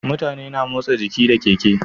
Mutane na motsa jiki da keke